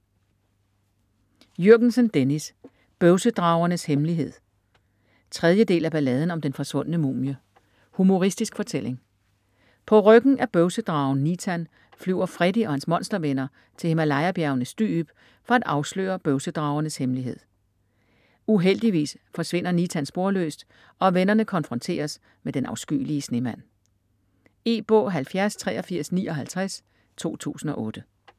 Jürgensen, Dennis: Bøvsedragernes hemmelighed 3. del af Balladen om den forsvundne mumie. Humoristisk fortælling. På ryggen af bøvsedragen Nitan flyver Freddy og hans monstervenner til Himalaya-bjergenes dyb for at afsløre bøvsedragernes hemmelighed. Uheldigvis forsvinder Nitan sporløst, og vennerne konfronteres med Den afskyelige Snemand. E-bog 708359 2008.